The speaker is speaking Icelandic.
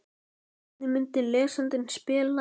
Hvernig myndi lesandinn spila?